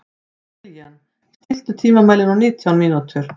Kilían, stilltu tímamælinn á nítján mínútur.